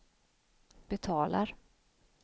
betalar